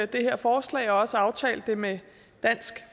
det her forslag og også aftalte det med dansk